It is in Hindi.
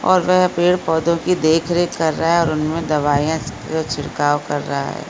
और वे पेड़-पौधो की देख रखे कर रहा है और उनमे दवाइयाँ छिड़काव कर रहा है ।